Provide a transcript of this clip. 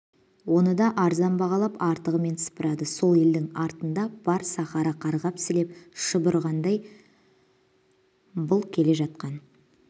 оны да арзан бағалап артығымен сыпырады сол елдің артында бар сахара қарғап-сілеп шұбырғандай бұл келе жатқан